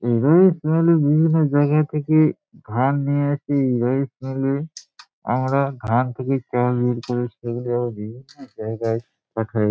এ বিভিন্ন জায়গা থেকে ধান নিয়ে এসে রাইস মিল -এ আমরা ধান থেকে চাল বের করে সে দেখা যা--